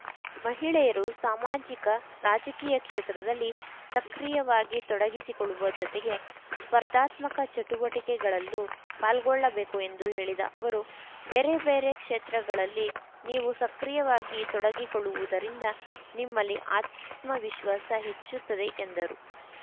ಮಹಿಳೆಯರು ಸಾಮಾಜಿಕ ರಾಜಕೀಯ ಕ್ಷೇತ್ರದಲ್ಲಿ ಸಕ್ರಿಯವಾಗಿ ತೊಡಗಿಸಿಕೊಳ್ಳುವ ಜೊತೆಗೆ ಸ್ಪರ್ಧಾತ್ಮಕ ಚಟುವಟಿಕೆಗಳಲ್ಲೂ ಪಾಲ್ಗೊಳ್ಳಬೇಕು ಎಂದು ಹೇಳಿದ ಅವರು ಬೇರೆಬೇರೆ ಕ್ಷೇತ್ರಗಳಲ್ಲಿ ನೀವು ಸಕ್ರಿಯವಾಗಿ ತೊಡಗಿಕೊಳ್ಳುವುದರಿಂದ ನಿಮ್ಮಲ್ಲಿ ಆತ್ಮವಿಶ್ವಾಸ ಹೆಚ್ಚುತ್ತದೆ ಎಂದರು